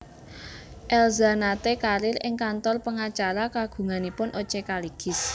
Elza nate karier ing kantor pengacara kagunganipun O C Kaligis